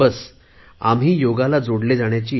फक्त गरज आहे ती आपण योगाला जोडले जाण्याची